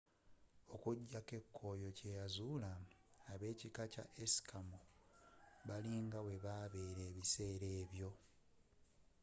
okujja ko ekoyo kye yazula abe'kika kya eskimo bali nga webabela ebisera ebyo